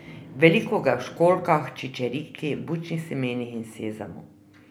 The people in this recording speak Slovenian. Veliko ga je v školjkah, čičerki, bučnih semenih in sezamu.